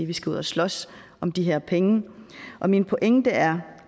vi skal ud at slås om de her penge og min pointe er